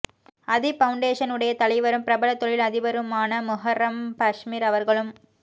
Adeeb foundation உடைய தலைவரும் பிரபல தொழில் அதிபருமான முஹர்ரம் பஸ்மிர் அவர்களும்